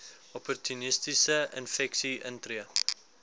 opportunistiese infeksies intree